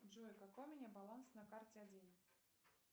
джой какой у меня баланс на карте один